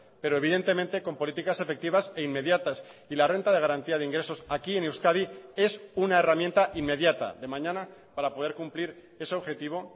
pero evidentemente con políticas efectivas e inmediatas y la renta de garantía de ingresos aquí en euskadi es una herramienta inmediata de mañana para poder cumplir ese objetivo